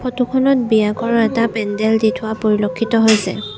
Photo খনত বিয়াঘৰৰ এটা পেণ্ডেল দি থোৱা পৰিলক্ষিত হৈছে।